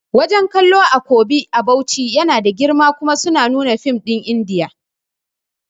Wajan kallo a Kobi a Bauchi yana da girma kuma suna nuna fim ɗin indiya